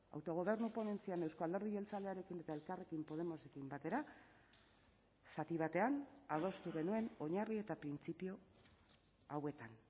autogobernu ponentzian euzko alderdi jeltzalearekin eta elkarrekin podemosekin batera zati batean adostu genuen oinarri eta printzipio hauetan